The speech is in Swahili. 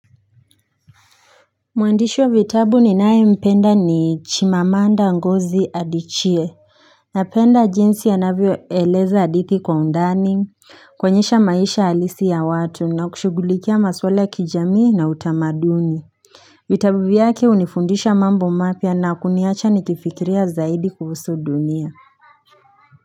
Mwandishi wa vitabu ninaye mpenda ni chimamanda ngozi adichie Napenda jinsi anavyoeleza hadithi kwa undani kuonyesha maisha halisi ya watu na kushugulikia maswala ya kijamii na utamaduni vitabu yake hunifundisha mambo mapya na kuniacha nikifikiria zaidi kufusu dunia.